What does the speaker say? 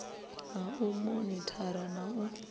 ha u monithara na u